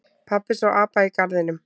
Pabbi sá apa í garðinum.